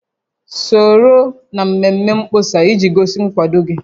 Soro na mmemme mkpọsa iji gosi nkwado gị